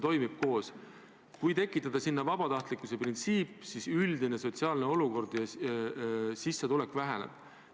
Kui kasutusele võtta vabatahtlikkuse printsiip, siis üldine sotsiaalne olukord halveneb ja sissetulek väheneb.